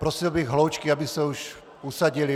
Prosil bych hloučky, aby se už usadily.